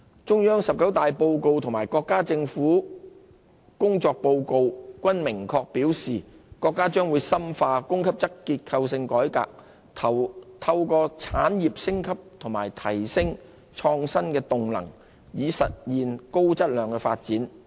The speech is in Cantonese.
中央"十九大報告"及國家政府工作報告均明確表示，國家將深化供給側結構性改革，透過產業升級及提升創新動能，以實現高質量發展。